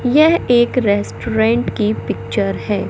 यह एक रेस्टोरेंट की पिक्चर है।